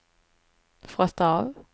frosta av